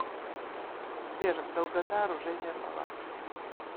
сбер долгота оружейная палата